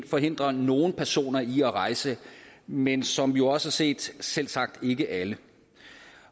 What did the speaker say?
forhindre nogle personer i at rejse men som vi jo også har set selvsagt ikke alle